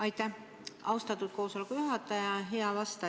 Aitäh, austatud koosoleku juhataja!